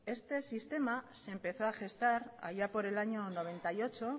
este sistema se empezó a gestar allá por el año noventa y ocho